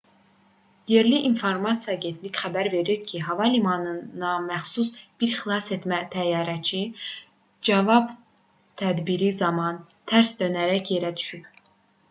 yerli informasiya agentlikləri xəbər verir ki hava limanına məxsus bir xilasetmə təyyarəsi cavab tədbiri zamanı tərs dönərək yerə düşüb